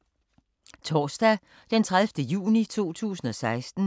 Torsdag d. 30. juni 2016